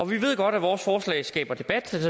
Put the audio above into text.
vi ved godt at vores forslag skaber debat